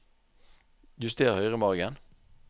Juster høyremargen